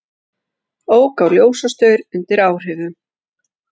Ók á ljósastaur undir áhrifum